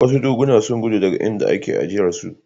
Wasu dokuna sun gudu daga inda ake aijarsu.